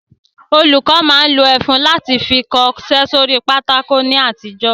Olùkọ́ máa ń lo ẹfun láti fi kọṣẹ́ sórí pátákó ní àtijọ́